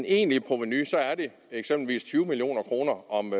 egentlige provenu er eksempelvis på tyve million kroner om